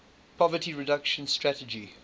poverty reduction strategy